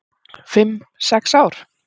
"""Fimm, sex ár?"""